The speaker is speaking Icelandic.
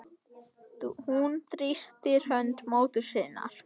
Hún þrýstir hönd móður sinnar.